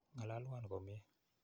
Ng'alalwon komnye.